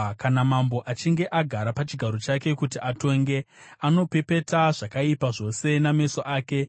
Kana mambo achinge agara pachigaro chake kuti atonge, anopepeta zvakaipa zvose nameso ake.